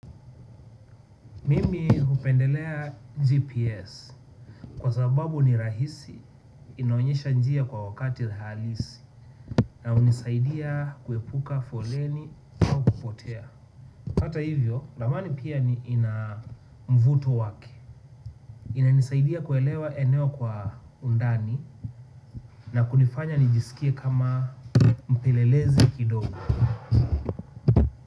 Mimi hupendelea GPS kwa sababu ni rahisi inaonyesha njia kwa wakati halisi na unisaidia kuepuka foleni au kupotea. Hata hivyo, ramani pia ni ina mvuto wake. Ina nisaidia kuelewa eneo kwa undani na kunifanya nijisikie kama mpelelezi kidogo.